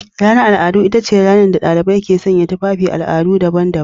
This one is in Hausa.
Ranar al'adu ita ce ranar da dalibai ke sanya tufafin al'adu daban-daban.